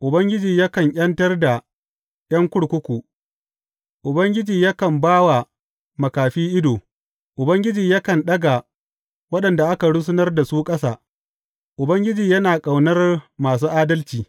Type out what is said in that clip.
Ubangiji yakan ’yantar da ’yan kurkuku, Ubangiji yakan ba wa makafi ido, Ubangiji yakan ɗaga waɗanda aka rusunar da su ƙasa, Ubangiji yana ƙaunar masu adalci.